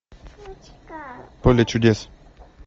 поле чудес